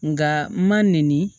Nka n ma nɛni